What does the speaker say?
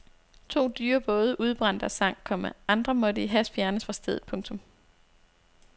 To dyre både udbrændte og sank, komma andre måtte i hast fjernes fra stedet. punktum